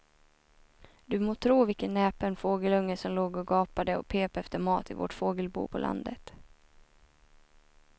Du må tro vilken näpen fågelunge som låg och gapade och pep efter mat i vårt fågelbo på landet.